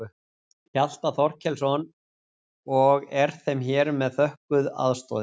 Hjalta Þorkelsson og er þeim hér með þökkuð aðstoðin.